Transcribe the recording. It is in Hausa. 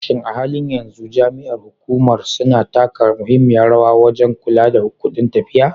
Shin a halin yanzu jami'an hukumar suna taka muhimmiyar rawa wajen kula da kudin tafiya?